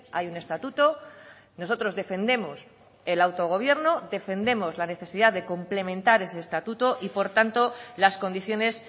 hay un estatuto nosotros defendemos el autogobierno defendemos la necesidad de complementar ese estatuto y por tanto las condiciones